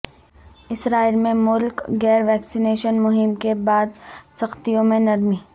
اسرائیل میں ملک گیر ویکسینیشن مہم کے بعد سختیوں میں نرمی